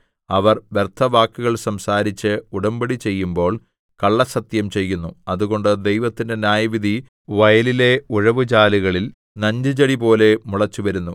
അവർ വ്യർത്ഥവാക്കുകൾ സംസാരിച്ച് ഉടമ്പടി ചെയ്യുമ്പോൾ കള്ളസ്സത്യം ചെയ്യുന്നു അതുകൊണ്ട് ദൈവത്തിന്റെ ന്യായവിധി വയലിലെ ഉഴവുചാലുകളിൽ നഞ്ചുചെടിപോലെ മുളച്ചുവരുന്നു